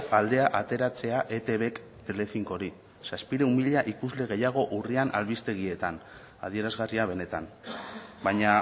aldea ateratzea etbk telecincori zazpiehun mila ikusle gehiago urrian albistegietan adierazgarria benetan baina